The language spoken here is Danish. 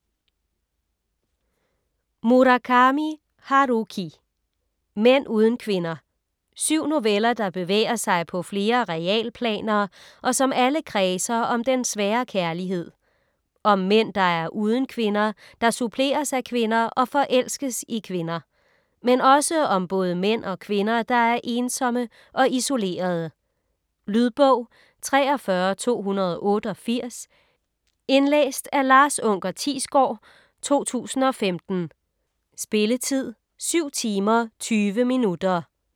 Murakami, Haruki: Mænd uden kvinder Syv noveller, der bevæger sig på flere realplaner, og som alle kredser om den svære kærlighed. Om mænd der er uden kvinder, der suppleres af kvinder og forelskes i kvinder. Men også om både mænd og kvinder der er ensomme og isolerede. Lydbog 43288 Indlæst af Lars unker Thiesgaard, 2015. Spilletid: 7 timer, 20 minutter.